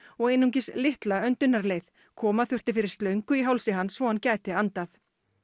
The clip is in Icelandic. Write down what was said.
og einungis litla koma þurfti fyrir slöngu í hálsi hans svo hann gæti andað